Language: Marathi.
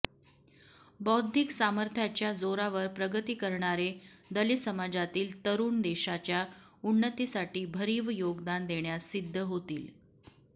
बौद्धिक सामर्थ्याच्या जोरावर प्रगती करणारे दलित समाजातील तरुण देशाच्या उन्नतीसाठी भरीव योगदान देण्यास सिद्ध होतील